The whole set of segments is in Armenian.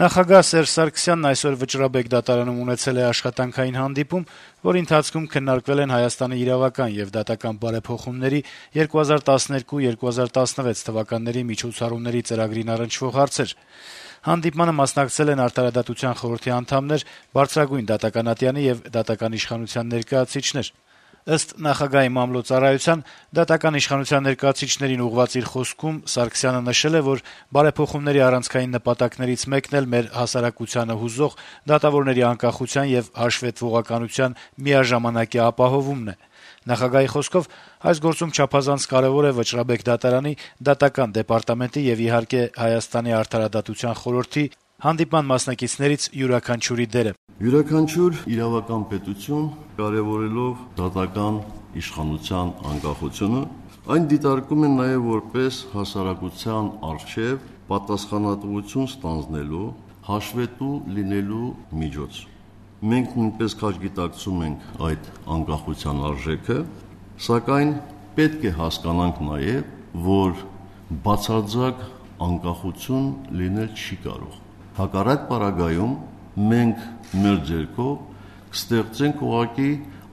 Նախագահ Սերժ Սարգսյանն այսօր Վճռաբեկ դատարանում ունեցել է աշխատանքային հանդիպում, որի ընթացքում քննարկվել են ՀՀ իրավական եւ դատական բարեփոխումների 2012 - 2016 թվականների միջոցառումների ծրագրին առնչվող հարցեր: Հանդիպմանը մասնակցել են Արդարադատության խորհրդի անդամներ, բարձրագույն դատական ատյանի եւ դատական իշխանության այլ ներկայացուցիչներ: Դատական իշխանության ներկայացուցիչներին ուղղված իր խոսքում, ինչպես փոխանցում է նախագահի մամլո ծառայությունը, Սերժ Սարգսյանը նշել է, որ բարեփոխումների առանցքային նպատակներից մեկն էլ մեր հասարակությանը հուզող դատավորների անկախության եւ հաշվետվողականության միաժամանակյա ապահովումն է: Նախագահի խոսքով, այս գործում չափազանց կարեւոր է Վճռաբեկ դատարանի, Դատական դեպարտամենտի եւ, իհարկե, Արդարադատության խորհրդի, հանդիպման մասնակիցներից յուրաքանչյուրի դերը: «Յուրաքանչյուր իրավական պետություն, կարեւորելով դատական իշխանության անկախությունը՝ այն դիտարկում է նաեւ որպես հասարակության առջեւ պատասխանատվություն ստանձնելու, հաշվետու լինելու միջոց: Մենք նույնպես քաջ գիտակցում ենք այդ անկախության արժեքը, սակայն պետք է հասկանանք նաեւ, որ բացարձակ անկախություն լինել չի կարող, հակառակ պարագայում՝ մենք մեր ձեռքով ուղղակի կստեղծենք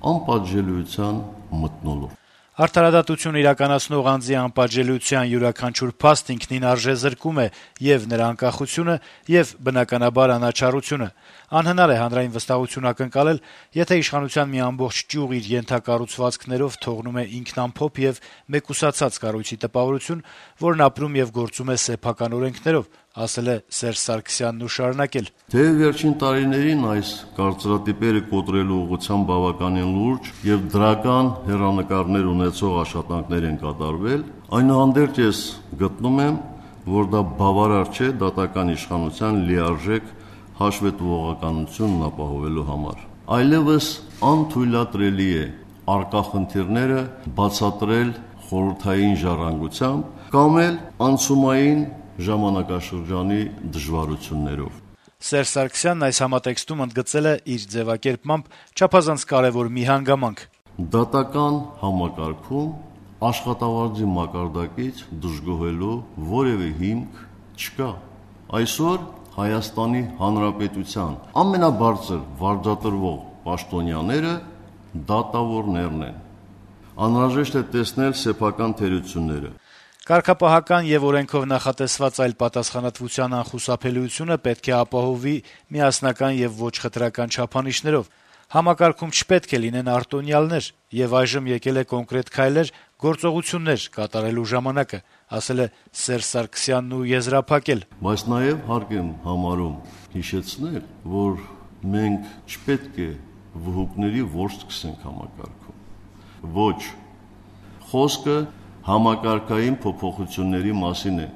անպատժելիության մթնոլորտ», - ասել է Սերժ Սարգսյանը: - «Արդարադատություն իրականացնող անձի անպատժելիության յուրաքանչյուր փաստ ինքնին արժեզրկում է ե՛ւ նրա անկախությունը, ե՛ւ, բնականաբար, անաչառությունը: Անհնար է հանրային վստահություն ակնկալել, եթե իշխանության մի ամբողջ ճյուղ իր ենթակառուցվածքներով թողնում է ինքնամփոփ եւ մեկուսացած կառույցի տպավորություն, որն ապրում եւ գործում է սեփական օրենքներով»: «Թեեւ վերջին տարիներին այս կարծրատիպերը կոտրելու ուղղությամբ բավականին լուրջ եւ դրական հեռանկար ունեցող աշխատանքներ են կատարվել, այնուհանդերձ, ես գտնում եմ, որ դա բավարար չէ դատական իշխանության լիարժեք հաշվետվողականությունն ապահովելու համար: Այլեւս անթույլատրելի է առկա խնդիրները բացատրել խորհրդային ժառանգությամբ կամ անցումային ժամանակաշրջանի դժվարություններով», - շեշտել է երկրի նախագահը: Այս համատեքստում նա ընդգծել է «չափազանց կարեւոր մի հանգամանք». - «Դատական համակարգում աշխատավարձի մակարդակից դժգոհելու որեւէ հիմք չկա: Այսօր Հայաստանի Հանրապետության ամենաբարձր վարձատրվող պաշտոնյաները դատավորներն են: Անհրաժեշտ է տեսնել սեփական թերությունները»: «Կարգապահական եւ օրենքով նախատեսված այլ պատասխանատվության անխուսափելիությունը պետք է ապահովվի միասնական եւ ոչ խտրական չափանիշներով: Համակարգում չպետք է լինեն արտոնյալներ: Եվ այժմ եկել է կոնկրետ քայլեր, գործողություններ կատարելու ժամանակը», - ասել է Սերժ Սարգսյանն ու եզրափակել. - «Բայց նաեւ հարկ եմ համարում հիշեցնել, որ մենք չպետք է «վհուկների որս» սկսենք համակարգում: Ոչ: Խոսքը համակարգային փոփոխությունների մասին է»: